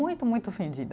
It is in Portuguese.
Muito, muito ofendida.